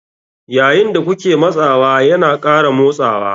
Yayin da kuke matsawa yana ƙara motsawa.